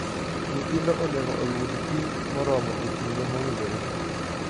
Nyithindo onego oyud pi moromo e kinde mowinjore.